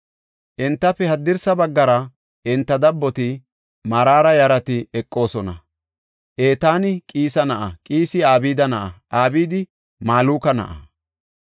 Entafe haddirsa baggara enta dabboti, Maraara yarati eqoosona. Etaani Qiisa na7a; Qiisi Abdi na7a; Abdi Maluka na7a;